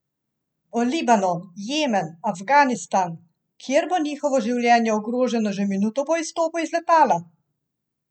V Libanon, Jemen, Afganistan, kjer bo njihovo življenje ogroženo že minuto po izstopu iz letala?